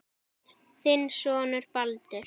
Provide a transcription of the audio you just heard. Þinn sonur Baldur.